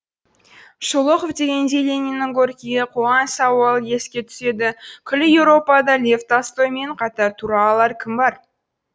шолохов дегенде лениннің горькийге қойған сауалы еске түседі күллі еуропада лев толстоймен қатар тұра алар кім бар